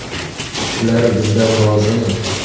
Shular bizdan rozimi?